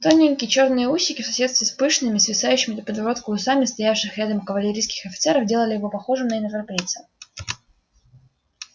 тоненькие чёрные усики в соседстве с пышными свисающими до подбородка усами стоявших рядом кавалерийских офицеров делали его похожим на европейца